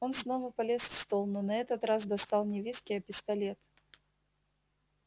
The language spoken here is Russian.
он снова полез в стол но на этот раз достал не виски а пистолет